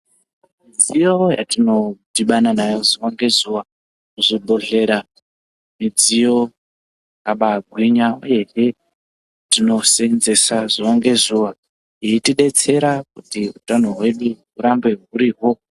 Midziyo yatino dhibana nayo zuva nge zuva zvi bhedhlera midziyo yakabai gwinya uyehe tino senzesa zuva nge zuva yeiti detsera kuti utano hwedu hurambe hurihwo.